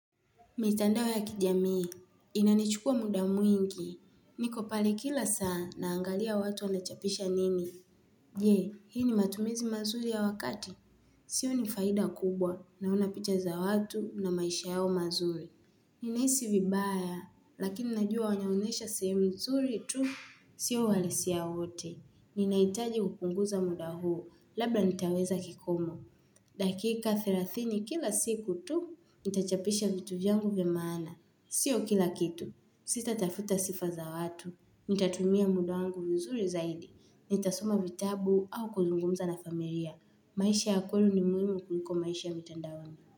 Mitandao ya kijamii. Inanichukua muda mwingi. Niko pale kila saa naangalia watu wanachapisha nini. Je, hii ni matumizi mazuri ya wakati. Sioni faida kubwa naona picha za watu na maisha yao mazuri. Ninaisi vibaya, lakini najua wanaonyesha sehemu mzuri tu, sio walisia wote. Ninaitaji kupunguza muda huo, labda nitaweza kikomo. Dakika therathini kila siku tu, nitachapisha vitu vyangu vya maana. Sio kila kitu. Sita tafuta sifa za watu. Nitatumia muda wangu vizuri zaidi. Nitasoma vitabu au kuzungumza na familia. Maisha ya kweli ni muhimu kuliko maisha ya mitandaoni.